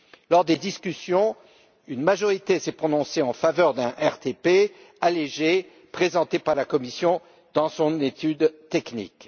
Lors des discussions, une majorité s'est prononcée en faveur d'un RTP allégé, présenté par la Commission dans son étude technique.